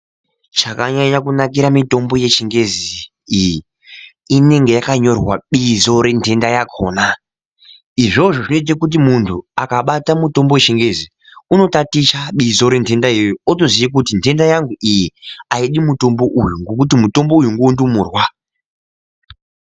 Chakanyanya kunakire mitombo yechingezi iyi, inenge yakanyorwa bizo rentenda yakona izvozvo zvinoita kuti muntu akabata mutombo wechingezi unotaticha bizo rentenda iyoyo otoziya kuti ntenda yangu iyi aidi mutombo uyu ngekuti mutombo uyu ngondumurwa.